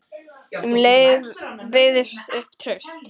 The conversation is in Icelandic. Um leið byggist upp traust.